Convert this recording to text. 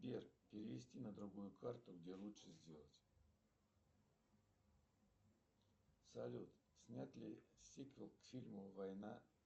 сбер перевести на другую карту где лучше сделать салют снят ли сиквел к фильму война